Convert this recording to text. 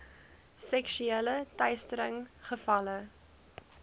seksuele teistering gevalle